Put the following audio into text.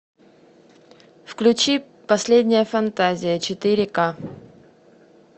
включи последняя фантазия четыре к